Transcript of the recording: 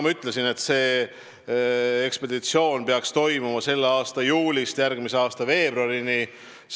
Ma ütlesin, et see ekspeditsioon peaks kestma selle aasta juulist järgmise aasta veebruarini.